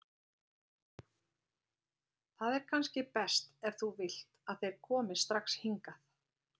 Það er kannski best, ef þú vilt, að þeir komi strax hingað.